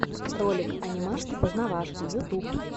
ролик анимашки познавашки ютуб